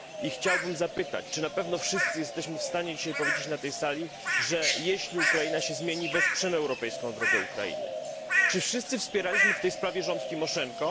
Chciałbym zapytać, czy na pewno wszyscy jesteśmy w stanie dzisiaj powiedzieć na tej sali, że jeśli Ukraina się zmieni, to wesprzemy jej europejską drogę? Czy wszyscy wspieraliśmy w tej sprawie rząd Timoszenko?